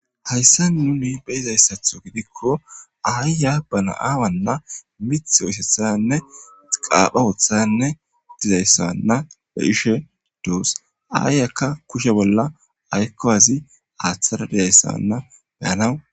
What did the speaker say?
hayssa nuni beyizayssatho gidikko aayya bana aawanna mith oisethanne qaapha woothanne dizayssanna be ishe doos aayyakka kushe bolla aykkowazi aaththara dizayssanna beyanawu